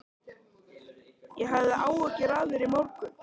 Ég hafði áhyggjur af þér í morgun.